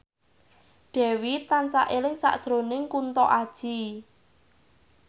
Dewi tansah eling sakjroning Kunto Aji